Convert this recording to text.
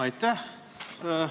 Aitäh!